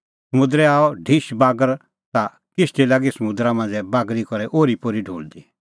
समुंदरै आअ ढिश बागर ता किश्ती लागी समुंदरा मांझ़ै बागरी करै ओरीपोरी ढुल़दी